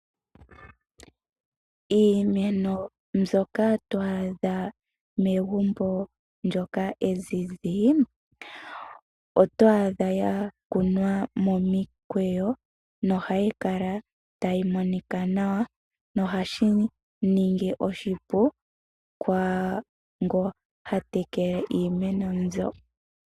Iimeno mbyoka twaa adha megumbo lyoka ezizi otwa adha ya kuna momikweyo nohayi kala tayi monika nawa nohashi ningi oshipu kwaango ha tekele iimeno mbyo.